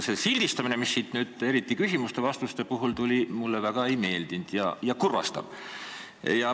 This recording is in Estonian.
See sildistamine, mis nüüd eriti küsimuste ja vastuste puhul välja tuli, mulle üldse ei meeldinud ja teeb kurvaks.